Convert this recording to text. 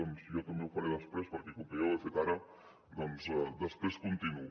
doncs jo també ho faré després perquè com que ja ho he fet ara després continuo